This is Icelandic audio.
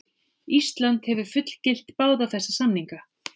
Ísland hefur fullgilt báða þessa samninga.